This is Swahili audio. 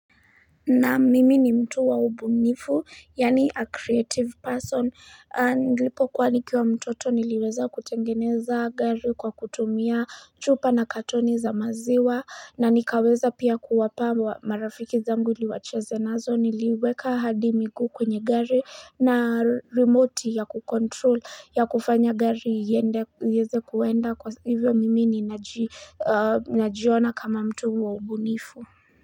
Naam mimi ni mtu wa ubunifu, yaani a creative person, nilipokuwa nikiwa mtoto niliweza kutengeneza gari kwa kutumia chupa na katoni za maziwa, na nikaweza pia kuwapa marafiki zangu ili wacheze nazo niliweka hadi miguu kwenye gari na remote ya kukontrol ya kufanya gari iende iweze kuenda kwa hivyo mimi ninaji najiona kama mtu wa ubunifu.